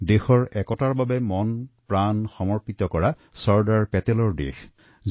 দেশৰ ঐক্যৰ বাবে মনপ্ৰাণ সমৰ্পণকাৰী চৰ্দাৰ বল্লভ ভাই পেটেলজীৰ দেশ